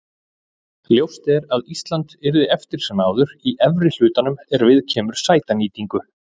Ljóst er að Ísland yrði eftir sem áður í efri hlutanum er viðkemur sætanýtingu.